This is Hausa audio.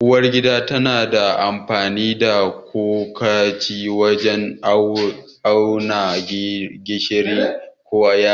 Uwar gida tana amfani da cokali wajen auna gishiri ko yaji.